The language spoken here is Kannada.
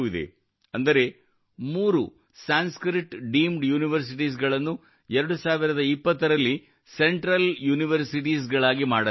ಅಂದರೆ ಮೂರು ಸಂಸ್ಕೃತ್ ಡೀಮ್ಡ್ ಯೂನಿವರ್ಸಿಟೀಸ್ ಗಳನ್ನು 2020 ರಲ್ಲಿ ಸೆಂಟ್ರಲ್ ಯೂನಿವರ್ಸಿಟೀಸ್ ಮಾಡಲಾಯಿತು